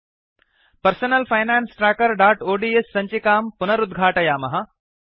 personal finance trackerओड्स् सञ्चिकां पुनरुद्घाटयामः